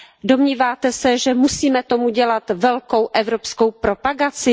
Domníváte se, že musíme tomu dělat velkou evropskou propagaci?